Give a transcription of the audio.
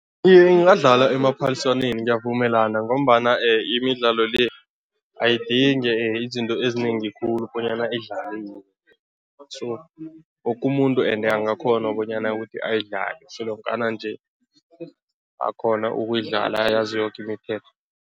Iye, ingadlalwa emaphaliswaneni, ngiyavumelana ngombana imidlalo le, ayidingi izinto ezinengi khulu bonyana idlaliwe so woke umuntu angakghona bonyana ayidlale solonkana nje akghona ukuyidlala ayazi yoke imithetho.